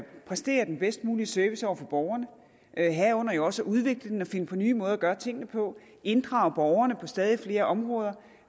præstere den bedst mulige service over for borgerne herunder jo også at udvikle dem og finde på nye måder at gøre tingene på inddrage borgerne på stadig flere områder